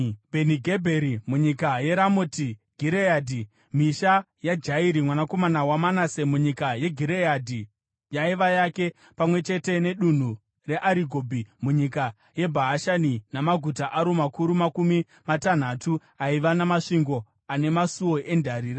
Bheni-Gebheri munyika yeRamoti Gireadhi (misha yaJairi, mwanakomana waManase munyika yeGireadhi yaiva yake, pamwe chete nedunhu reArigobhi munyika yeBhashani namaguta aro makuru makumi matanhatu aiva namasvingo ane masuo endarira);